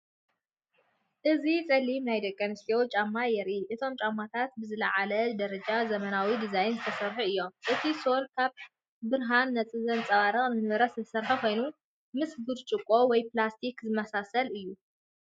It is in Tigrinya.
እዚ ጸሊም ናይ ደቂ ኣንስትዮ ጫማ የርኢ። እቶም ጫማታት ብዝለዓለ ደረጃን ዘመናውን ዲዛይን ዝተሰርሑ እዮም። እቲ ሶል ካብ ብርሃን ዘንጸባርቕ ንብረት ዝተሰርሐ ኮይኑ፡ ምስ ብርጭቆ ወይ ፕላስቲክ ዝመሳሰል እዩ።